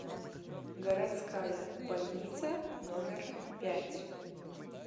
городская больница номер пять